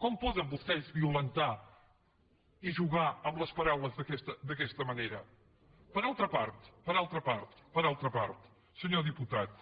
com poden vostès violentar i jugar amb les paraules d’aquesta manera per altra part per altra part senyor diputat